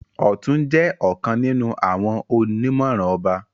Ọtún jẹ ọkàn nínú àwọn onimọran ọba.